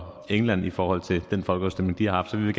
england i forhold til den folkeafstemning de har haft så vi vil